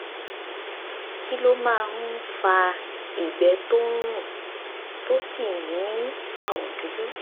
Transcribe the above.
kí ló máa ń fa ìgbẹ́ tó ń rùn tó sì ní àwọ̀ dúdú?